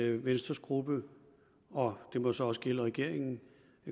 at venstres gruppe og det må så også gælde regeringen